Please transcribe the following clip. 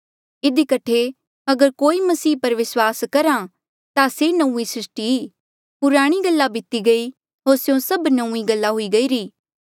इधी कठे अगर कोई मसीह पर विस्वास करहा ता से नौंईं सृस्टी ई पुराणी गल्ला बीती गई होर स्यों सभ गल्ला नौंईं हुई गईरी